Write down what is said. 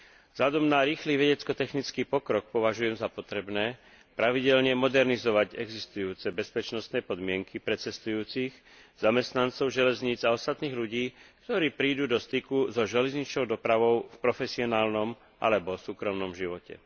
Vzhľadom na rýchly vedecko technický pokrok považujem za potrebné pravidelne modernizovať existujúce bezpečnostné podmienky pre cestujúcich, zamestnancov železníc a ostatných ľudí, ktorí prídu do styku so železničnou dopravou v profesionálnom alebo súkromnom živote.